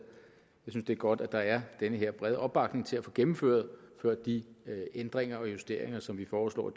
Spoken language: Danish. jeg synes det er godt at der er den her brede opbakning til at få gennemført de ændringer og justeringer som vi foreslår